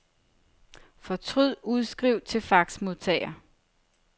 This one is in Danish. Fortryd udskriv til faxmodtager.